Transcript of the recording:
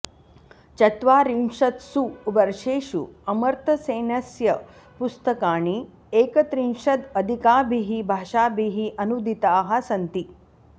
चत्वारिंशत्सु वर्षेषु अमर्त्यसेनस्य पुस्तकानि एकत्रिंशदधिकाभिः भाषाभिः अनूदिताः सन्ति